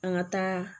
An ka taa